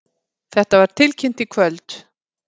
Þetta var tilkynnt í kvöld